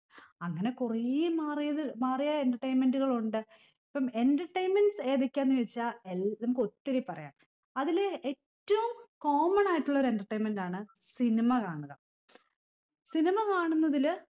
അങ്ങനെ കുറേ മാറിയത് മാറിയ entertainment കള് ഉണ്ട് ഇപ്പം entertainments ഏതൊക്കെയാന്ന് ചോയിച്ചാ എൽ നമുക്കൊത്തിരി പറയാ അതില് ഏറ്റവും common ആയിട്ടുള്ള ഒരു entertainment ആണ് cinema കാണുക cinema കാണുന്നതില്